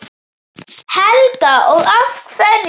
Helga: Og af hverju?